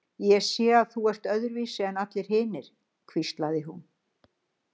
Ég sé að þú ert öðruvísi en allir hinir, hvíslaði hún